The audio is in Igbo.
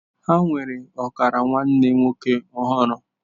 Ha nwere ọkara nwanne nwoke ọhụrụ.